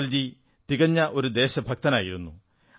അടൽജി ഒരു തികഞ്ഞ ദേശഭക്തനായിരുന്നു